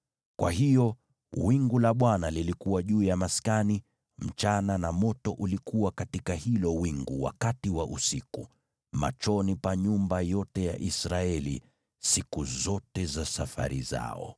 Kwa hiyo wingu la Bwana lilikuwa juu ya maskani mchana, na moto ulikuwa katika hilo wingu wakati wa usiku, machoni pa nyumba yote ya Israeli siku zote za safari zao.